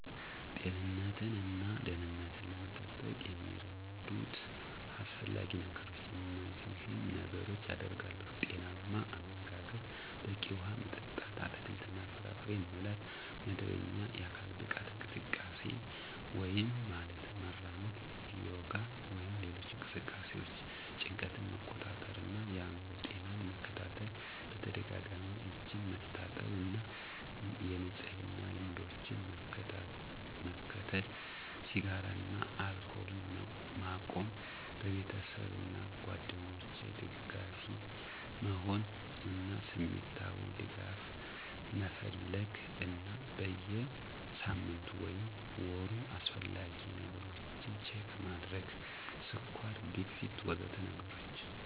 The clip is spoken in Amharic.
ጤንነትን እና ደህንነትን ለመጠበቅ የሚረዱት አስፈላጊ ነገሮች እነዚህን ነገሮች አደርጋለሁ። ⦁ ጤናማ አመጋገብ፣ በቂ ውሃ መጠጥ፣ አትክልትና ፍራፍሬ መብላት ⦁ መደበኛ የአካል ብቃት እንቅስቃሴ (ማለትም መራመድ፣ ዮጋ ወይም ሌሎች እንቅስቃሴዎች) ⦁ ጭንቀትን መቆጣጠር እና የአእምሮ ጤናን መከታተል ⦁ በተደጋጋሚ እጆችን መታጠብ እና የንጽህና ልምዶችን መከተል ⦁ ስጋራን እና አልኮልን መቆም ⦁ በቤተሰብ እና ጓደኞች ደጋፊ መሆን እና ስሜታዊ ድጋፍ መፈለግ እና በየ ሳምንቱ ወይም ወሩ አስፈላጊ ነገሮች ችክ ማድረግ (ስኳር፣ ግፊት... ወዘተ ነገሮችን)